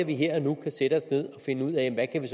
vi her og nu kan sætte os ned og finde ud af hvad vi